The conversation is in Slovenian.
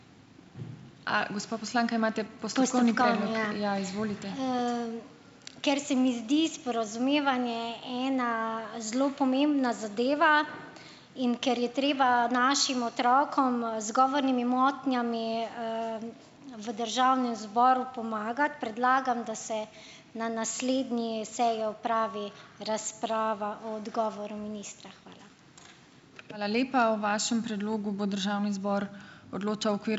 Ker se mi zdi sporazumevanje ena zelo pomembna zadeva in ker je treba našim otrokom, z govornimi motnjami, v državnem zboru pomagati, predlagam, da se na naslednji seji opravi razprava o odgovoru ministra. Hvala.